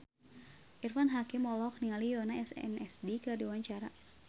Irfan Hakim olohok ningali Yoona SNSD keur diwawancara